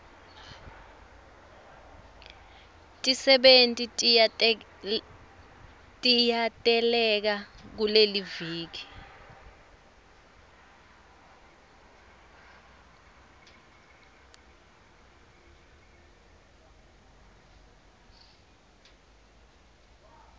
tisebenti tiyateleka kuleliviki